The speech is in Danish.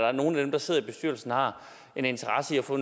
at nogle af dem der sidder i bestyrelsen har en interesse i at få